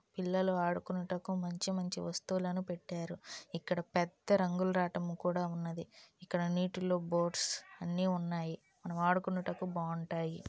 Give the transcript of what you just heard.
పిల్లలు ఆడుకొనుటకు మంచి మంచి వస్తువులను పెట్టారు . ఇక్కడ పెద్ద రంగులరాటం కూడా ఉన్నది ఇక్కడ నీటిలో బోట్స్ అన్నీ ఉన్నాయి మన ఆడుకొనుటకు బాగుంటాయి.